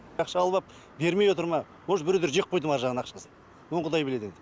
ақша алып ап бермей отыр ма может біреулер жеп қойды ма аржағынан ақшасын оны құдай біледі енді